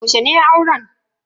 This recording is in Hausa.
Yaushe ne auren?